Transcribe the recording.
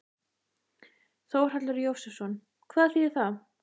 Þórhallur Jósefsson: Hvað þýðir það?